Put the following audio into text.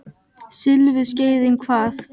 Silfurskeiðin hvað?